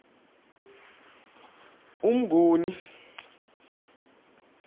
umnguni